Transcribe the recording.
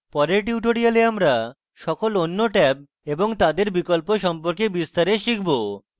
পরের tutorials আমরা সকল অন্য ট্যাব এবং তাদের বিকল্প সম্পর্কে বিস্তারে শিখব